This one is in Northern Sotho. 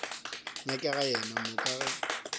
nyakega yena mo ka ge